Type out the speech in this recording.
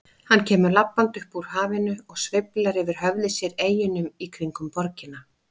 Hann kemur labbandi upp úr hafinu og sveiflar yfir höfði sér eyjunum í kringum borgina.